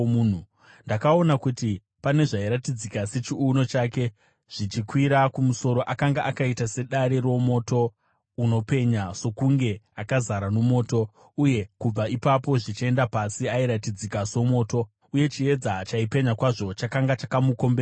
Ndakaona kuti pane zvairatidzika sechiuno chake zvichikwira kumusoro, akanga akaita sedare romoto unopenya, sokunge akazara nomoto, uye kubva ipapo zvichienda pasi, airatidzika somoto; uye chiedza chaipenya kwazvo chakanga chakamukomberedza.